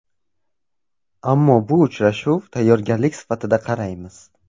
Ammo bu uchrashuv tayyorgarlik sifatida qaraymiz.